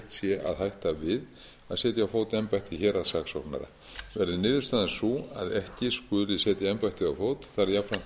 sé að hætta við að setja á fót embætti héraðssaksóknara verði niðurstaðan sú að ekki skuli setja embættið á fót þarf jafnframt að huga að